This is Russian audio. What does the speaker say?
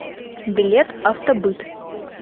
билет автобыт